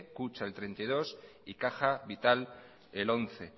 kutxa el treinta y dos y caja vital el once